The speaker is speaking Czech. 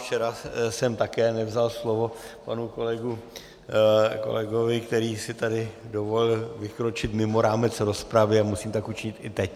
Včera jsem také nevzal slovo panu kolegovi, který si tady dovolil vykročit mimo rámec rozpravy, a musím tak učinit i teď.